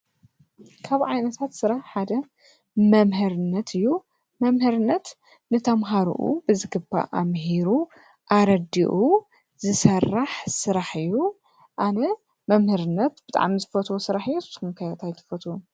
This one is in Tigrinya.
ካብ ዓይነታት ስራሕ ሓደ መምህርነት እዩ። መምህርነት ንተማሃርኡ ብዝግባእ ኣምሂሩ ኣረዲኡ ዝሰርሕ ስራሕ እዩ። ኣነ መምህርነት ብጣዕሚ ዝፈትዎ ስራሕ እዩ። ንስኹም ከ እንታይ ትፈትዉ?